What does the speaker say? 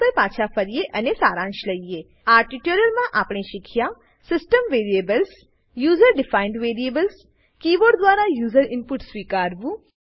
આ ટ્યુટોરીયલમાં આપણે શીખ્યા system variables system variables user defined variables user defined variables keyboard દ્વારા યુઝર ઈનપુટ સ્વીકારવું